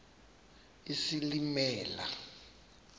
isilimela